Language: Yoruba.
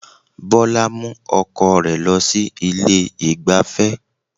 Bọlá mú ọkọ rẹ̀ lọ sí ilé ìgbáfẹ́